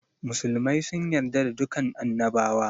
Musulmai sun yarda da dukan annabawa